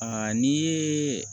Aa n'i ye